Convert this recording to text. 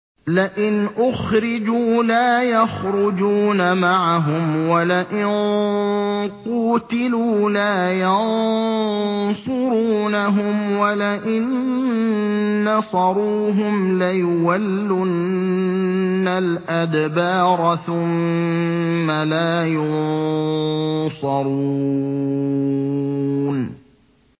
لَئِنْ أُخْرِجُوا لَا يَخْرُجُونَ مَعَهُمْ وَلَئِن قُوتِلُوا لَا يَنصُرُونَهُمْ وَلَئِن نَّصَرُوهُمْ لَيُوَلُّنَّ الْأَدْبَارَ ثُمَّ لَا يُنصَرُونَ